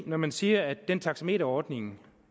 når man siger at den taxameterordning